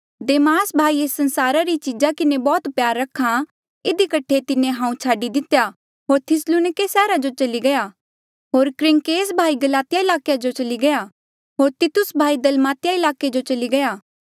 देमास भाई एस संसारा री चीजा किन्हें बौह्त प्यार रखा इधी कठे तिन्हें हांऊँ छाडी दितेया होर थिस्सलुनिके सैहरा जो चली गया होर क्रेसक्रेंस भाई गलातिया ईलाके जो चली गया होर तितुस भाई दलमातिया ईलाके जो चली गया